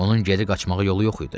Onun geri qaçmağa yolu yox idi.